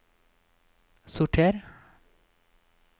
sorter